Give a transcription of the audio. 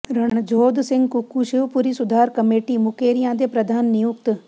ਰਣਜੋਧ ਸਿੰਘ ਕੁੱਕੂ ਸ਼ਿਵਪੁਰੀ ਸੁਧਾਰ ਕਮੇਟੀ ਮੁਕੇਰੀਆਂ ਦੇ ਪ੍ਰਧਾਨ ਨਿਯੁਕਤ